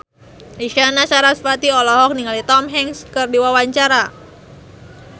Isyana Sarasvati olohok ningali Tom Hanks keur diwawancara